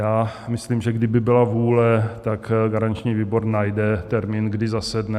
Já myslím, že kdyby byla vůle, tak garanční výbor najde termín, kdy zasedne.